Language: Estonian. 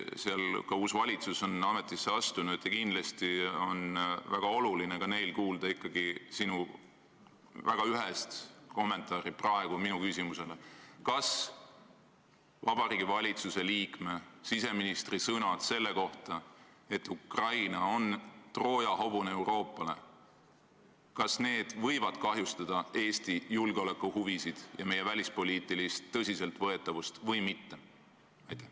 Seal on ka uus valitsus ametisse astunud ja kindlasti on neil väga oluline kuulda sinu ühest vastust minu küsimusele: kas Vabariigi Valitsuse liikme, siseministri sõnad selle kohta, et Ukraina on Euroopa jaoks Trooja hobune, võivad kahjustada Eesti julgeolekuhuvisid ja meie välispoliitilist tõsiseltvõetavust või mitte?